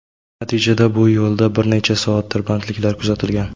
Natijada bu yo‘lda bir necha soat tirbandliklar kuzatilgan.